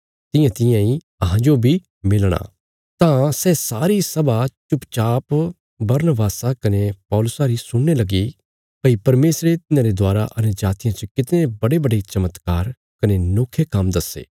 तां सै सारी सभा चुपचाप बरनबासा कने पौलुसा री सुणने लगी भई परमेशरे तिन्हांरे दवारा अन्यजातियां च कितणे बड्डेबड्डे चमत्कार कने नोखे काम्म दस्से